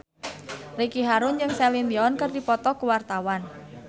Ricky Harun jeung Celine Dion keur dipoto ku wartawan